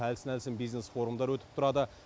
әлсін әлсін бизнес форумдар өтіп тұрады